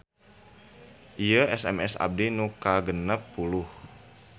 Ieu SMS abdi nu kagenep puluh